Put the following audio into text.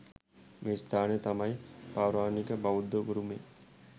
මේ ස්ථානය තමයි පෞරාණික බෞද්ධ උරුමය.